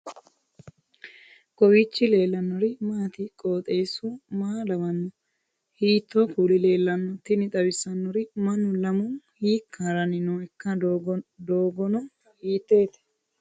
kowiicho leellannori maati ? qooxeessu maa lawaanno ? hiitoo kuuli leellanno ? tini xawissannori mannu lamu hiika haranni nooikka doogono hiitoote